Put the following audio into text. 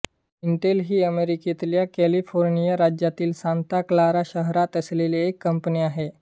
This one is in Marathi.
इंटेल ही अमेरिकेतल्या कॅलिफोर्निया राज्यातील सांता क्लारा शहरात असलेली एक कंपनी आहे